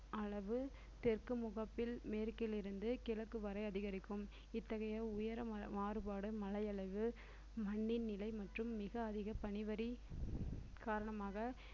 அளவு தெற்கு முகப்பில் மேற்கிலிருந்து கிழக்கு வரை அதிகரிக்கும் இத்தகைய உயர மா~ மாறுபாடு மழையளவு மண்ணின் நிலை மற்றும் மிக அதிக பனிவரி காரணமாக